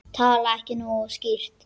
Tala ég ekki nógu skýrt?